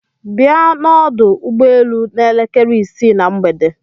Bia n'ọdụ ụgbọelu n'elekere isii na mgbede.